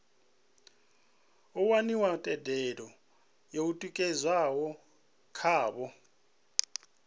waniwa thendelo yo tikedzwaho khavho